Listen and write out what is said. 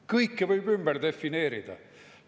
Kõike võib ümber defineerida!